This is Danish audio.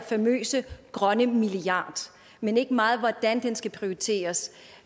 famøse grønne milliard men ikke meget om hvordan den skal prioriteres